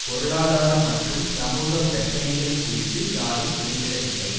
பொருளாதார மற்றும் சமூக பிரச்சனைகள் குறித்து யாரும் குறிப்பிடவில்லை